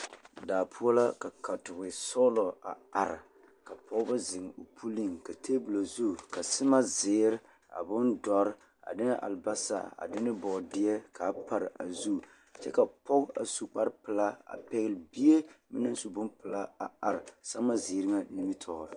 Daa poɔ la ka katoɡisɔɔlɔ a are ka pɔɡebɔ zeŋ o puliŋ ka teebulɔ o zu ka sɛmaaziiri a bondɔre a de albaasa ne bɔɔdeɛ ka a pare a zu kyɛ ka pɔɡe a su kparpelaa a pɛɡele bie ka o naŋ su bompelaa a are sɛmaaziiri ŋa nimitɔɔreŋ.